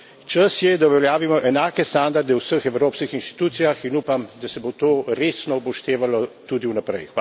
Čas je, da uveljavimo enake standarde v vseh evropskih inštitucijah, in upam, da se bo to resno upoštevalo tudi vnaprej.